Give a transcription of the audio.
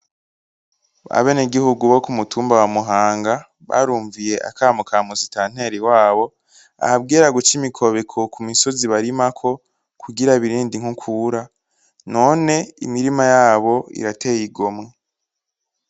Abeneguhugu bo kumutumba wa muhanga barumviye akanama ka musitanteri wabo ababwira guca imikobeko kumitumba barimako kugira birinde inkukura none imirima yabo irateye igomwe .